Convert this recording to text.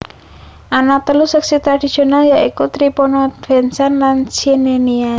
Ana telu seksi tradhisional ya iku Tripolitania Fezzan lan Cyrenaica